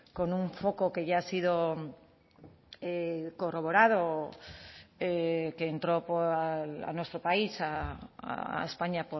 con un foco que ya ha sido corroborado que entró a nuestro país a españa